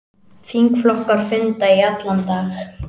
Þingflokkar funda í allan dag